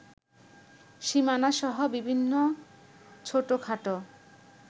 সীমানাসহ বিভিন্ন ছোটখাটো